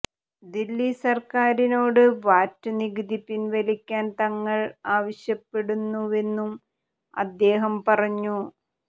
ദില്ലി സർക്കാരിനോട് വാറ്റ് നികുതി പിൻവലിക്കാൻ തങ്ങൾ ആവശ്യപ്പെടുന്നുവെന്നും അദ്ദേഹം പറഞ്ഞു